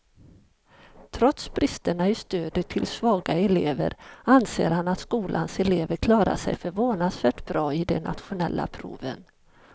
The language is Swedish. Trots bristerna i stödet till svaga elever anser han att skolans elever klarar sig förvånansvärt bra i de nationella proven.